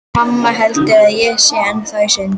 Mamma heldur að ég sé ennþá í sundi.